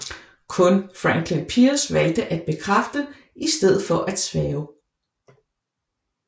Kun Franklin Pierce valgte at bekræfte i stedet for at sværge